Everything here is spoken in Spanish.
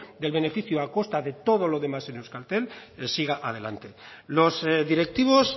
del beneficio a costa de todo lo demás en euskaltel siga adelante los directivos